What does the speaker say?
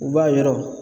U b'a yɔrɔ